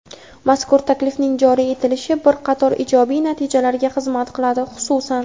Mazkur taklifning joriy etilishi bir qator ijobiy natijalarga xizmat qiladi, xususan:.